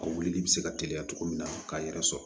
A wulili bɛ se ka teliya cogo min na k'a yɛrɛ sɔrɔ